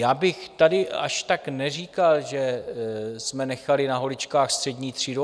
Já bych tady až tak neříkal, že jsme nechali na holičkách střední třídu.